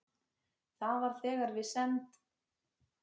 Það var þegar við send